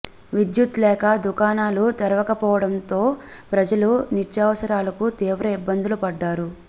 విద్యుత్ లేక దుకాణాల తెరవకపోవడంతో ప్రజలు నిత్యావసరాలకు తీవ్ర ఇబ్బందులు పడ్డారు